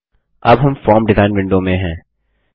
हम अब form design window में हैं